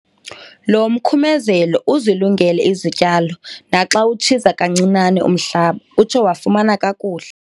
Lo mkhumezelo uzilungele izityalo naxa utshiza kancinane umhlaba utsho wafuma kakuhle.